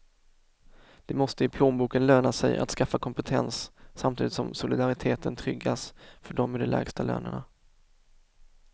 Det måste i plånboken löna sig att skaffa kompetens, samtidigt som solidariteten tryggas för dem med de lägsta lönerna.